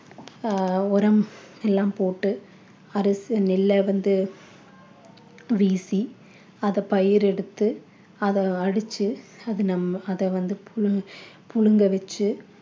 ஆஹ் உரம் எல்லாம் போட்டு அரசி நெல்ல வந்து வீசி அத பயிர் எடுத்து அதை அடிச்சு அது நம்ம அத வந்து புழுங்~ புழுங்க வெச்சி